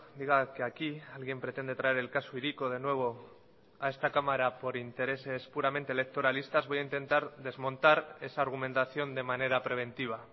diga que aquí alguien pretende traer el caso hiriko de nuevo a esta cámara por intereses puramente electoralistas voy a intentar desmontar esa argumentación de manera preventiva